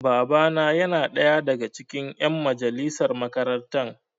Baba na yana ɗaya daga cikin ƴan majalisar makarantar.